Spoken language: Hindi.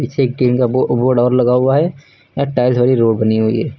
पीछे एक टीन का बो बोर्ड और लगा हुआ है यहां टाइल्स वाली रोड बनी हुई है।